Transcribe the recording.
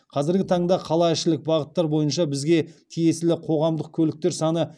қазіргі таңда қалаішілік бағыттар бойынша бізге тиесілі қоғамдық көліктер саны